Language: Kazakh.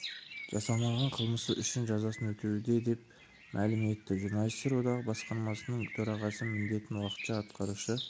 жасамаған қылмысы үшін жазасын өтеуде деп мәлім етті журналистер одағы басқармасының төрағасы міндетін уақытша атқарушы